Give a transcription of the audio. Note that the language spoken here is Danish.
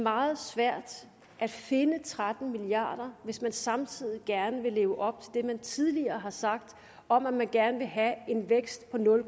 meget svært at finde tretten milliard kr hvis man samtidig gerne vil leve op til det man tidligere har sagt om at man gerne vil have en vækst på nul